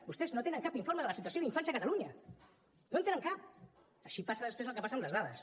vostès no tenen cap informe de la situació d’infància a catalunya no en tenen cap així passa després el que passa amb les dades